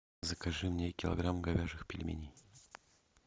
закажи мне килограмм говяжьих пельменей